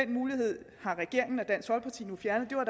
mulighed har regeringen